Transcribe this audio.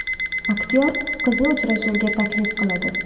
Aktyor qizni uchrashuvga taklif qiladi.